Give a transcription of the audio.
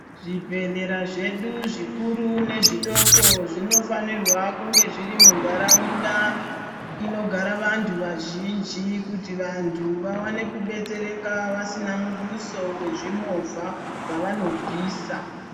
Zvibhehlera zvedu zvikuru nezvidoko zvinofanirwa kunge zviri mundaraunda inogara vantu vazhinji kuti vantu vaone kubetsereka vasina mubuso wezvimovha yavanobvisa.